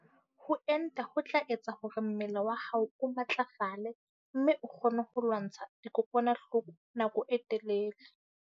Ho enta ho tla etsa hore mmele wa hao o matlafale mme o kgone ho lwantsha dikokwanahloko nako e telele.